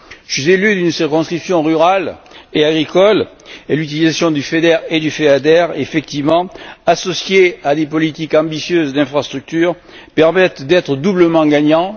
Je suis élu d'une circonscription rurale et agricole et l'utilisation du FEDER et du FEADER effectivement, associée à des politiques ambitieuses d'infrastructures permettent d'être doublement gagnant.